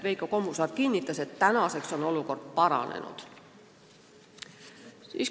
Veiko Kommusaar kinnitas, et olukord on paranenud.